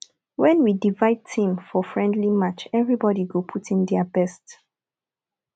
wen we divide team for friendly match everybody go put in their best